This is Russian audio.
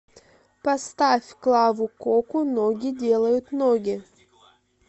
поставь клаву коку ноги делают ноги